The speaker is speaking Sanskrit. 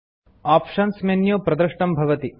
आप्शन मेन्यू प्रदृष्टं भवति